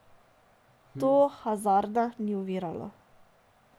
To Hazarda ni oviralo.